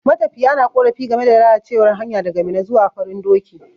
Matafiya na ƙorafi game da lalacewar hanya daga Minna zuwa Farin doki.